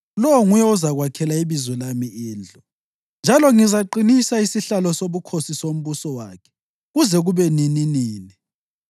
Lowo nguye ozakwakhela iBizo lami indlu, njalo ngizaqinisa isihlalo sobukhosi sombuso wakhe kuze kube nininini.